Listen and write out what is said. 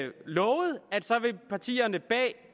partierne bag